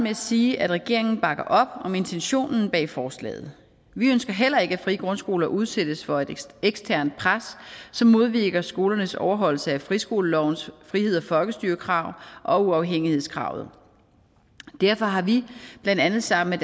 at sige at regeringen bakker op om intentionen bag forslaget vi ønsker heller ikke at frie grundskoler udsættes for eksternt pres som modvirker skolernes overholdelse af friskolelovens frihed og folkestyre krav og uafhængighedskravet derfor har vi blandt andet sammen